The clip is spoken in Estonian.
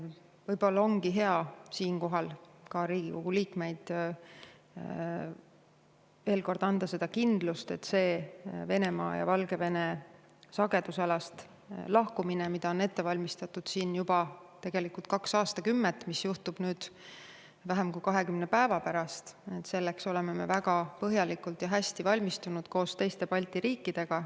Võib-olla ongi hea siinkohal Riigikogu liikmetele veel kord anda kindlus, et Venemaa ja Valgevene sagedusalast lahkumiseks, mida on tegelikult ette valmistatud juba kaks aastakümmet, aga mis juhtub nüüd vähem kui 20 päeva pärast, me oleme väga põhjalikult ja hästi valmistunud koos teiste Balti riikidega.